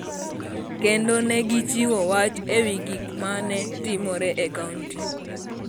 kendo ne gichiwo wach e wi gik ma ne timore e kaonti.